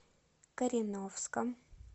кореновском